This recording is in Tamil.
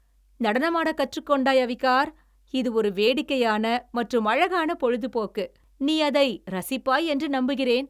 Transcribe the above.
நடனமாடக் கற்றுக்கொண்டாய், அவிகார்! இது ஒரு வேடிக்கையான மற்றும் அழகான பொழுதுபோக்கு, நீ அதை ரசிப்பாய் என்று நம்புகிறேன்.